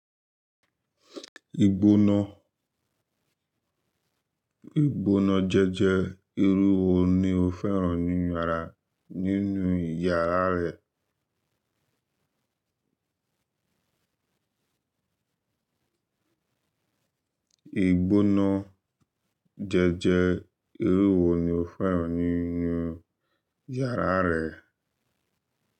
Ìgbóná jẹ́jẹ́ irú wo ni o fẹ́ràn nínu yàrá rẹ? E gbona jeje, iru ewo nino feran ninu yara re?